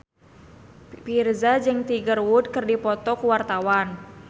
Virzha jeung Tiger Wood keur dipoto ku wartawan